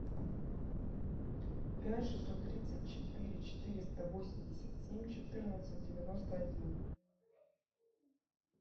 пять шестьсот тридцать четыре четыреста восемьдесят семь четырнадцать девяносто один